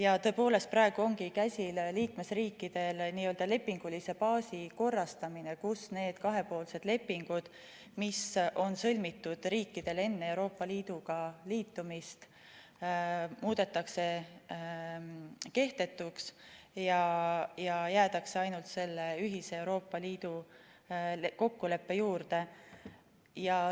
Ja tõepoolest, praegu ongi käsil liikmesriikide n-ö lepingulise baasi korrastamine, kus need kahepoolsed lepingud, mis on riikidel sõlmitud enne Euroopa Liiduga liitumist, muudetakse kehtetuks ja jäädakse ainult selle ühise Euroopa Liidu kokkuleppe juurde.